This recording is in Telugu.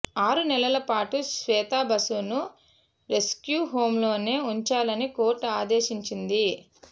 ఆరు నెలల పాటు శ్వేతా బసును రెస్య్కూ హోంలోనే ఉంచాలని కోర్టు ఆదేశించింది